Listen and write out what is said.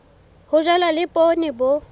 ho jalwa le poone bo